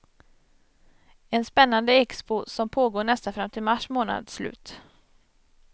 En spännande expo, som pågår nästan fram till mars månads slut.